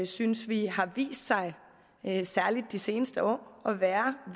synes vi har vist sig særlig de seneste år at være